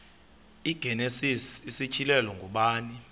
igenesis isityhilelo ngubani